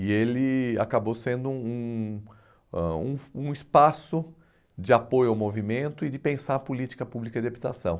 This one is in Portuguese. E ele acabou sendo um ãh um um espaço de apoio ao movimento e de pensar a política pública de habitação.